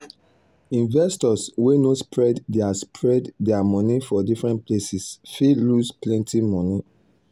the financial advisor check the client portfolio wella before e decide where him go put him money.